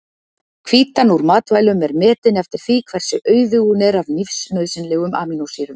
Hvítan úr matvælum er metin eftir því hversu auðug hún er af lífsnauðsynlegum amínósýrum.